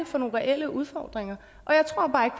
for nogle reelle udfordringer